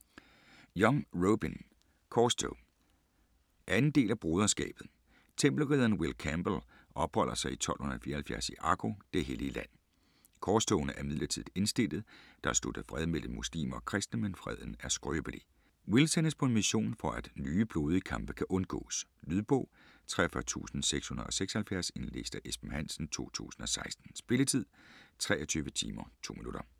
Young, Robyn: Korstog 2. del af Broderskabet. Tempelridderen Will Campbell opholder sig i 1274 i Akko, det hellige Land. Korstogene er midlertidigt indstillede, der er sluttet fred mellem muslimer og kristne, men freden er skrøbelig. Will sendes på en mission for at nye blodige kampe kan undgås. . Lydbog 43676 Indlæst af Esben Hansen, 2016. Spilletid: 23 timer, 2 minutter.